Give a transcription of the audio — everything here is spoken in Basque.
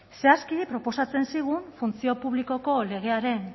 zehazki proposatzen zigun funtzio publikoko legearen